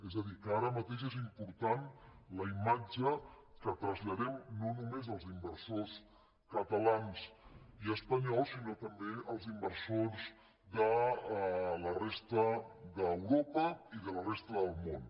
és a dir que ara mateix és important la imatge que traslladem no només als inversors catalans i espanyols sinó també als inversors de la resta d’europa i de la resta del món